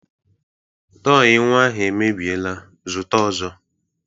Tọị nnwa ahụ mebiela, zụta ọzọ!